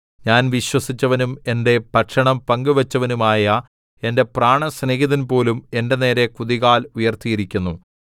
ഞാൻ വിശ്വസിച്ചവനും എന്റെ ഭക്ഷണം പങ്കുവച്ചവനുമായ എന്റെ പ്രാണസ്നേഹിതൻ പോലും എന്റെ നേരെ കുതികാൽ ഉയർത്തിയിരിക്കുന്നു